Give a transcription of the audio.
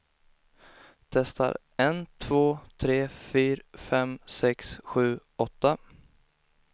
Testar en två tre fyra fem sex sju åtta.